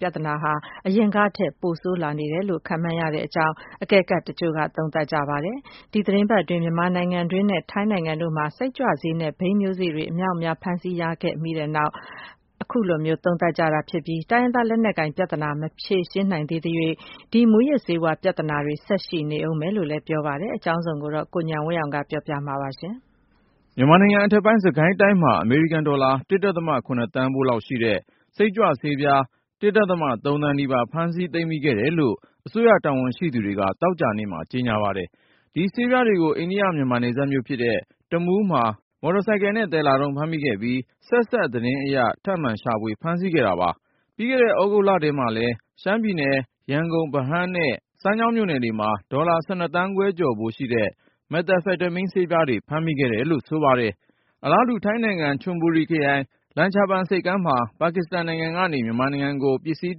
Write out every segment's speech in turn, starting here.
ပြဿနာဟာ အရင်ကထက် ပိုဆိုးလာနေတယ်လို့ ခန့်မှန်းရကြောင်း အကဲခတ်တချို့က သုံးသပ်ပါတယ်။ ဒီသီတင်း ပတ်အတွင်း မြန်မာနိုင်ငံတွင်းနဲ့ ထိုင်းနိုင်ငံတို့မှာ စိတ်ကြွဆေးနဲ့ ဘိန်းမျိုးစေ့တွေ အမြောက်အများ ဖမ်းဆီးရမိခဲ့ပြီးနောက် အခုလို သုံးသပ်လာ ကြတာ ဖြစ်ပါတယ်။ တိုင်းရင်းသားလက်နက်ကိုင်ပြဿနာ မဖြေရှင်းနိုင်သရွေ့ ဒီမူးယစ်ဆေးဝါး ပြဿနာတွေ ဆက်ရှိနေဦးမယ်လို့ ပြောကြ တာပါ။ အကြောင်းစုံကို ကိုဉာဏ်ဝင်းအောင်က တင်ပြပါမယ်။ မြန်မာနိုင်ငံအထက်ပိုင်း စစ်ကိုင်းတိုင်းမှာ အမေရိကန်ဒေါ်လာ (၁.၇)သန်းဖိုးလောက်ရှိတဲ့ စိတ်ကြွဆေးပြား (၁.၃)သန်းနီးပါး ဖမ်းမိသိမ်းဆည် ခဲ့တယ်လို့ အစိုးရတာဝန်ရှိသူတွေက သောကြာနေ့မှာ ကြေညာပါတယ်။ ဒီဆေးပြားတွေကို အိန္ဒိယ-မြန်မာနယ်စပ်မြို့ဖြစ်တဲ့ တမူးမှာ မော်တော်ဆိုင်ကယ်နဲ့ သယ်လာတုန်း ဖမ်းမိခဲ့ပြီး၊ ဆက်စပ်သတင်းအရ ထပ်မံရှာဖွေဖမ်းဆီးခဲ့တာ ဖြစ်ပါတယ်။ ပြီးခဲ့တဲ့ သြဂုတ်လထဲမှာလည်း ရှမ်းပြည်နယ်၊ ရန်ကုန် ဗဟန်းနဲ့ စမ်းချောင်းမြို့နယ်တွေမှာ ဒေါ်လာ (၁၂)သန်းခွဲကျော်ဖိုးရှိတဲ့ မက်သာဖက်တမင်း ဆေးပြားတွေ ဖမ်းမိခဲ့ တယ်လို့ ဆိုပါတယ်။ အလားတူ ထိုင်းနိုင်ငံ ချွန်ဗူရီခရိုင် လမ်ချာဘန်ဆိပ်ကမ်းမှာ ပါကစ္စတန်နိုင်ငံကနေ မြန်မာနိုင်ငံကို ပစ္စည်း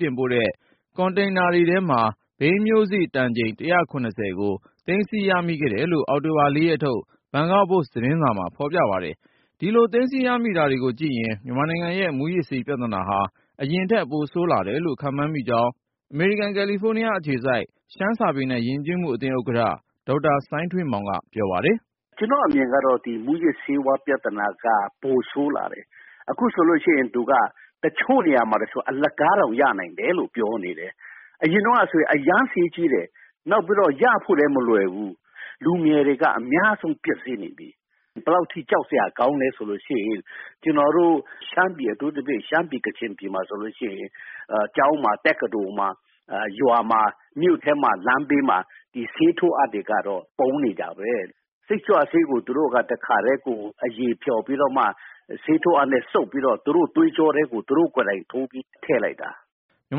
တင်ပို့တဲ့ ကွန်တိန်နာထဲမှာ ဘိန်းမျိုးစေ့ တန်ချိန်(၁၇၀)ကို သိမ်းဆည်း ရမိခဲ့တယ်လို့ အောက်တိုဘာ ၄ ရက်ထုတ် ဘန်ကောက်ပို့စ်သတင်းစာမှာ ဖေါ်ပြပါတယ်။ ဒီလို သိမ်းဆည်းရမိတာတွေကို ကြည့်ရင် မြန်မာနိုင်ငံရဲ့ မူးယစ်ဆေးပြဿနာဟာ အရင်ထက် ပိုဆိုးလာတယ်လို့ ခန့်မှန်းကြောင်း အမေရိကန် ကယ်လီဖိုးနားအခြေစိုက် ရှမ်းစာပေနဲ့ ယဉ်ကျေးမှုအသင်းဥက္ကဌ ဒေါက်တာ စိုင်းထွေးမောင်က ပြောပါတယ်။ “ကျနော့်အမြင်ကတော့ ဒီ မူးယစ်ဆေးဝါးပြဿနာက ပိုဆိုးလာတယ် အခုဆိုရင် တချို့နေရာမှာဆိုရင် အလကားတောင်ရနိုင်တယ် လို့ပြောနေတယ်။ အရင်တုန်းကဆိုရင် အရမ်းဈေးကြီးတယ်။ နောက်ပြီးတော့ ရဖို့လည်းမလွယ်ဘူး လူငယ်တွေက အများဆုံးပျက်ဆီးနေတယ်။ ဘယ်လောက်အထိ ကြောက်စရာကောင်းလဲဆိုရင် ကျနော်တို့ အထူးသဖြင့် ရှမ်းပြည် ၊ ကချင်ပြည်မှာဆိုရင် ကျောင်းမှာ တက္ကသိုလ်မှာ၊ ရွာမှာ ၊ မြို့ထဲမှာဆိုရင် လမ်းဘေးမှာ ဆေးထိုးအပ်တွေကတော့ ပုံနေတာပဲ ။ စိတ်ကြွဆေးကို သူတို့က တခါတည်း အရည်ဖျော်ပြီးမှ ဆေးထိုးအပ်နဲ့သူတို့ သွေးကြောထဲကို သူတို့ကိုယ်တိုင် ထည့်လိုက်တာ။” မြန်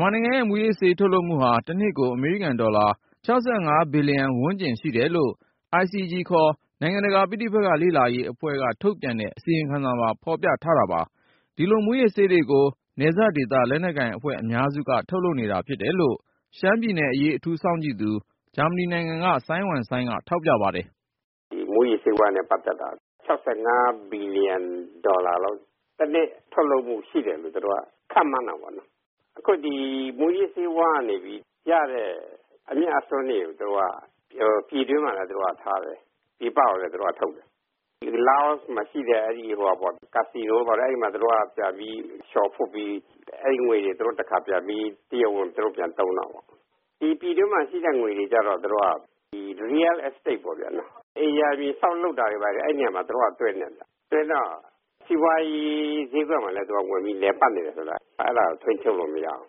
မာနိုင်ငံရဲ့ မူးယစ်ဆေးထုတ်လုပ်မှုဟာ တနှစ်ကို အမေရိကန်ဒေါ်လာ (၆၅)ဘီလျံ ဝန်းကျင် ရှိတယ်လို့ ICG ခေါ် နိုင်ငံတကာ ပဋိပက္ခ လေ့လာရေးအဖွဲ့က ထုတ်ပြန်တဲ့ အစီရင်ခံစာမှာ ဖေါ်ပြထားတာပါ။ ဒီလို မူးယစ်ဆေးတွေကို နယ်စပ်ဒေသ လက်နက်ကိုင်အဖွဲ့ အများစုက ထုတ်လုပ်နေတာ ဖြစ်တယ်လို့ ရှမ်းပြည်နယ်အရေး အထူးစောင့်ကြည့်သူ ဂျာမနီနိုင်ငံက စိုင်းဝမ်စိုင်းက ထောက်ပြပါတယ်။ “ဒီမူးယစ်ဆေးဝါးနဲ့ ပတ်သက်တာ ၆၅ ဘီလီယံဒေါ်လာလောက် တနှစ်ထုတ်လုပ်မှု ရှိတယ်လို့ သူတို့က ခန့်မှန်းတာပေါ့နော်။ အခုဒီ မူးယစ်ဆေးဝါးကနေရတဲ့ အမြတ်အစွန်းတွေကို ပြည်တွင်းမှာပဲ ထားတယ်၊ ပြည်ပမှာ မထုတ်ဘူး။ လာအိုမှာရှိတဲ့ ကာဆီနိုတွေမှာ သူတို့ လဲပြီး အဲဒီငွေတွေကို သူတို့ တရားဝင်သုံးတာပေါ့ ။ ပြည်တွင်းမှာ ရှိတဲငွေတွေကျတော့ Real Estate ပေါ့ ၊ အိမ်ရာမြေ ဆောက်လုပ်တာတွေဘာတွေမှာ သူတို့သွင်းတယ်။ အဲဒီတော့ စီးပွားရေး ဈေးကွက်မှာ သူတို့ ဝင်ပြီး လည်ပတ်နေတာ ကို ထိန်းချုပ်လို့မရဘူး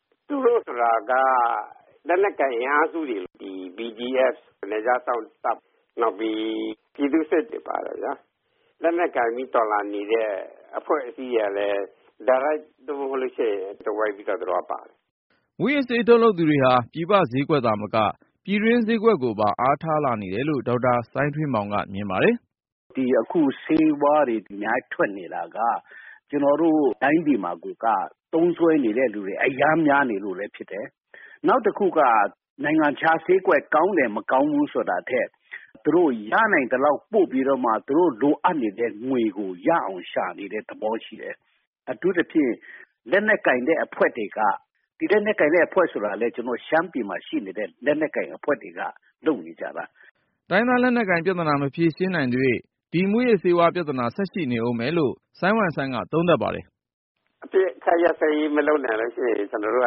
။ သူတို့ဆိုတာက လက်နက်ကိုင်အင်အားစုတွေ BGF ၊ နယ်ခြားစောင်းတပ်တွေ ပြည်သူ့စစ်တွေပါတယ် ။ လက်နက်ကိုင်ပြီး တော်လှန်နေတဲ့ အဖွဲ့အစည်းတွေကလည်း ဒါရိုက်မဟုတ်ရင်လည်း သွယ်ဝှိက်ပြီးတော့ ပါတယ်။” မူးယစ်ဆေး ထုတ်လုပ်သူတွေဟာ ပြည်ပဈေးကွက်သာမက ပြည်တွင်းဈေးကွက်ကိုပါ အားထားလာနေတယ်လို့ ဒေါက်တာစိုင်းထွေးမောင်က မြင်ပါတယ်။ “အခုဆေးဝါးတွေ အများကြီးထွက်နေတာက ကျနော်တို့တိုင်းပြည်မှာ သုံးစွဲနေတဲ့လူတွေ အရမ်းများနေလို့လည်းဖြစ်တယ်။ နောက်တခုက နိုင်ငံခြားဈေးကွက် ကောင်းတယ်၊ မကောင်းဘူးဆိုတာထက် သူတို့ရနိုင်သလောက်ပို့ပြီးတော့မှ သူတို့ လိုအပ်နေတဲ့ ငွေကို ရအောင်ရှာနေတဲ့ သဘောရှိတယ်။ အထူးသဖြင့် ရှမ်းပြည်မှာရှိတဲ့ လက်နက်ကိုင်တဲ့အဖွဲ့တွေက လုပ်နေကြတာ။” တိုင်းရင်းသားလက်နက်ကိုင်ပြဿနာ မဖြေရှင်းနိုင်သ၍ ဒီမူးယစ်ဆေးဝါး ပြဿနာ ဆက်ရှိနေဦးမယ်လို့ စိုင်းဝမ်းစိုင်းက ထောက်ပြပါတယ်။ “အပစ်အခတ်ရပ်စဲရေးမလုပ်နိုင်ရင် ကျနော်တို့က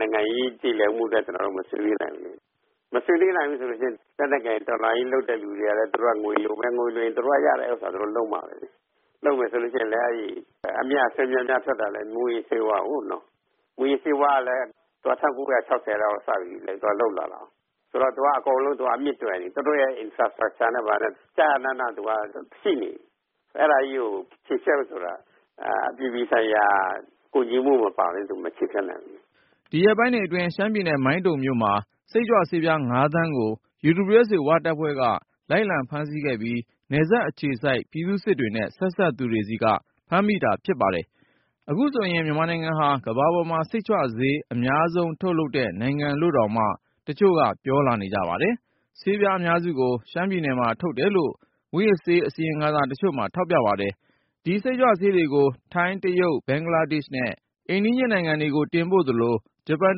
နိုင်ငံရေး ပြေလည်မှုအတွက် ကျနော်တို့ မဆွေးနွေးနိုင်ဘူး ။ မဆွေးနွေးနိုင်ဘူးဆိုရင် လက်နက်ကိုင်တော်လှန်ရေးလုပ်တဲ့လူတွေက သူတို့ငွေလိုရင် သူတို့ရတဲ့ဟာတွေ သူတို့လုပ်မှာပဲ ။ လုပ်တာလည်း အမြတ်အစွန်း များများထွက်တာလည်း မူးယစ်ဆေးကို။ မူးယစ်ဆေးဝါးကလည်း ၁၉၆၀ လောက်ကနေစပြီး လုပ်လာတာကို အဲဒါဆိုတော့ အကုန်လုံး အမြစ်တွယ်နေပြီ သူတို့ infrastructure ကလည်း ကျကျနန ရှိနေပြီ။ အဲဒါကြီးကို ချေဖျက်ဖို့ဆိုရင်လည်း အပြည်ပြည်ဆိုင်ရာ ကူညီမှုမပါပဲနဲ့ မချေဖျက်နိုင်ဘူး။” ဒီရက်ပိုင်းတွေအတွင်း ရှမ်းပြည်နယ် မိုင်းတုံမြို့မှာ စိတ်ကြွဆေးပြား ၅ သန်းကို UWSA ဝတပ်ဖွဲ့က လိုက်လံဖမ်းဆီးခဲ့ပြီး နယ်စပ်အခြေစိုက် ပြည်သူ့စစ်တွေနဲ့ ဆက်စပ်သူတွေဆီက ဖမ်းမိတာဖြစ်ပါတယ်။ အခုဆိုရင် မြန်မာနိုင်ငံဟာ ကမ္ဘာပေါ်မှာ စိတ်ကြွဆေး အများဆုံးထုတ်လုပ်တဲ့ နိုင်ငံလို့တောင်မှ တချို့ကပြောနေကြပါတယ်။ ဆေးပြား အများစုကို ရှမ်းပြည်နယ်မှာ ထုတ်တယ်လို့ မူးယစ်ဆေး အစီရင်ခံစာတချို့မှာ ထောက်ပြပါတယ်။ ဒီစိတ်ကြွဆေးတွေကို ထိုင်း၊ တရုတ်၊ ဘင်္ဂလားဒေ့ရှ်နဲ့ အိမ်နီးချင်း နိုင်ငံတွေကို တင်ပို့သလို၊ ဂျပန်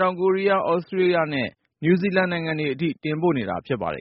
တောင်ကိုရီးယားနဲ့ သြစတြေးလျား နယူဇီလန်နိုင်ငံတွေအထိ တင်ပို့နေတာ ဖြစ်ပါတယ်